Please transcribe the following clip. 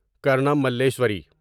کارنام ملیشوری